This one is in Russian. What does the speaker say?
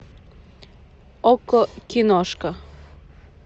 окко киношка